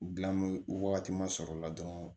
wagati ma sɔrɔ o la dɔrɔn